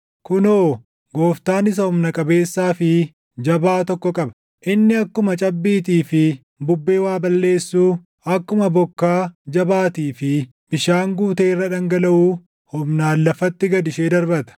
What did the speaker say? Kunoo, Gooftaan isa humna qabeessaa fi jabaa tokko qaba. Inni akkuma cabbiitii fi bubbee waa balleessuu, akkuma bokkaa jabaatii fi bishaan guutee irra dhangalaʼuu, humnaan lafatti gad ishee darbata.